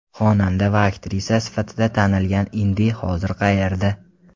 Xonanda va aktrisa sifatida tanilgan Indi hozir qayerda?